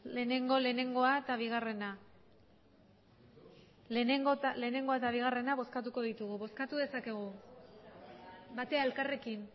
lehengo lehengoa eta bigarrena lehenengoa eta bigarrena bozkatuko ditugu batera elkarrekin